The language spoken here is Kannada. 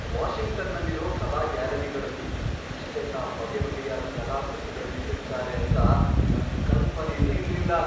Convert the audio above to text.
ವಾಷಿಂಗ್ಟನ್ನಲ್ಲಿರೋ ಕಲಾ ಗ್ಯಾಲರಿಗಳಲ್ಲಿ ಇಷ್ಟೆಲ್ಲ ಬಗೆಬಗೆಯಾದ್ ಕಲಾಕೃತಿಗಳ್ನಿಟ್ಟಿರ್ತಾರೆ ಅಂತ ನಂಗ್ ಕಲ್ಪನೆನೇ ಇರ್ಲಿಲ್ಲ.